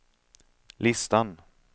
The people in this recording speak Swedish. listan